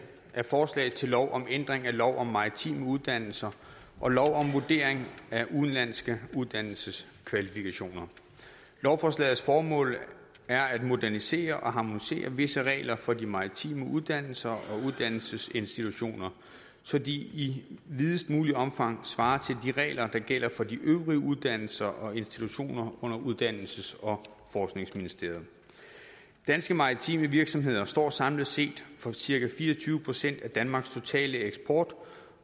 er forslag til lov om ændring af lov om maritime uddannelser og lov om vurdering af udenlandske uddannelseskvalifikationer lovforslagets formål er at modernisere og harmonisere visse regler for de maritime uddannelser og uddannelsesinstitutioner så de i videst muligt omfang svarer til de regler der gælder for de øvrige uddannelser og institutioner under uddannelses og forskningsministeriet danske maritime virksomheder står samlet set for cirka fire og tyve procent af danmarks totale eksport